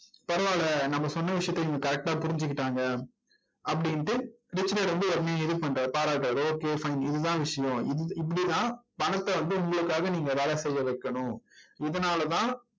பரவாயில்ல நம்ம சொன்ன விஷயத்த இவங்க correct ஆ புரிஞ்சிக்கிட்டாங்க அப்படின்னுட்டு ரிச் டாட் வந்து உடனே இது பண்றாரு, பாராட்டுறார். okay fine இதுதான் விஷயம் இப் இப்படித்தான் பணத்தை வந்து உங்களுக்காக நீங்க வேலை செய்ய வைக்கணும். இதனாலதான்